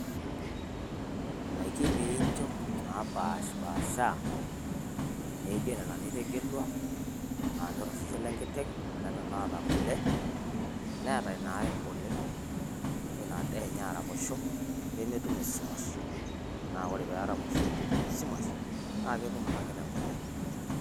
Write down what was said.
ndaiki pee incho napashipaasha naijo nena nitegelua. naanyor osesen lenkiteng'.onena naata kule. neeta inae oleng. nenya ina daa enye nemetum esumash. nemeitoki alau ina kiteng kule.